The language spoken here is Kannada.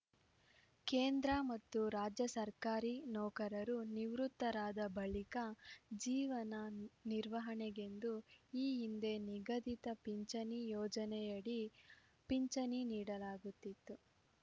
ಕೇಂದ್ರ ಮತ್ತು ರಾಜ್ಯ ಸರ್ಕಾರಿ ನೌಕರರು ನಿವೃತ್ತರಾದ ಬಳಿಕ ಜೀವನ ನಿರ್ವಹಣೆಗೆಂದು ಈ ಹಿಂದೆ ನಿಗದಿತ ಪಿಂಚಣಿ ಯೋಜನೆಯಡಿ ಪಿಂಚಣಿ ನೀಡಲಾಗುತ್ತಿತ್ತು